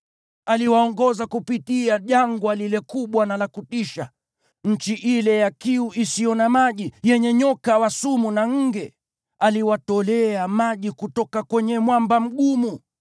Aliwaongoza kupitia jangwa lile kubwa na la kutisha, nchi ile ya kiu isiyo na maji, yenye nyoka wa sumu na nge. Aliwatolea maji kutoka kwenye mwamba mgumu.